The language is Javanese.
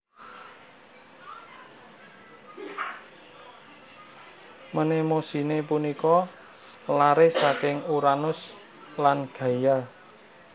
Mnemosine punika laré saking Uranus lan Gaia